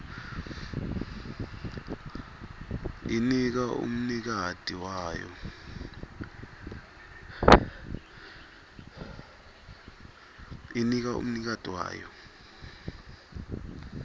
inika umnikati wayo